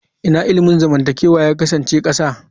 Ina ilimin zamantakewa ya kasance ƙasa?